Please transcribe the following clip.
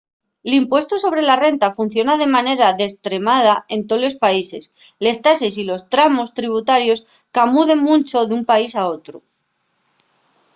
l'impuestu sobre la renta funciona de manera destremada en tolos países les tases y los tramos tributarios camuden muncho d'un país al otru